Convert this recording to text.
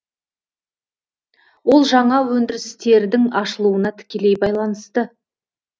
ол жаңа өндірістердің ашылуына тікелей байланысты